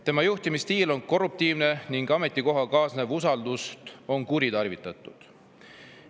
Tema juhtimisstiil on korruptiivne ning ametikohaga kaasnevat usaldust on kuritarvitatud.